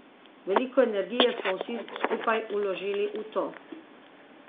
Veliko energije smo vsi skupaj vložili v to.